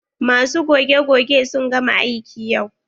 Masu goge-goge sun gama aiki yau.